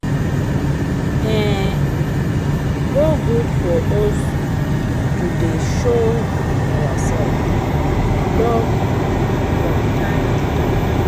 E go good for us to dey show ourselves love from time to time